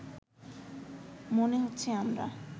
মনে হচ্ছে আমরা